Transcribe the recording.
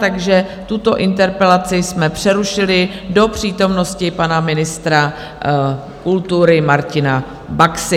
Takže tuto interpelaci jsme přerušili do přítomnosti pana ministra kultury Martina Baxy.